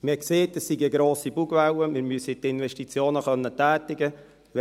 Man sagte, es sei eine grosse Bugwelle, wir müssten die Investitionen tätigen können;